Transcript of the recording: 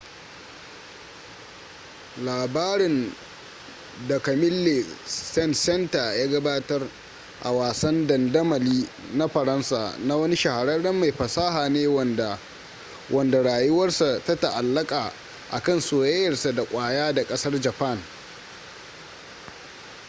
labarin da camille saint-saenstar ya gabatar a wasan dandamali na faransa, na wani shahararren mai fasaha ne wanda wanda rayuwarsa ta ta’allaka kan soyayyarsa da kwaya da kasar japan